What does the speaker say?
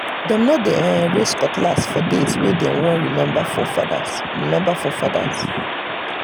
dem no dey um raise cutlass for days wey um dem want remember forefathers. um remember forefathers. um